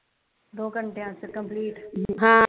ਦੋ ਘੰਟਿਆਂ ਵਿਚ ਕੰਪਲੇਂਟ